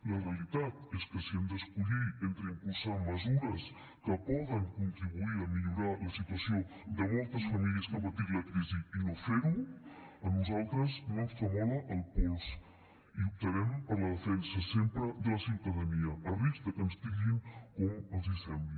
la realitat és que si hem d’escollir entre impulsar mesures que poden contribuir a millorar la situació de moltes famílies que han patit la crisi i no fer ho a nosaltres no ens tremola el pols i optarem per la defensa sempre de la ciutadania a risc que ens titllin com els sembli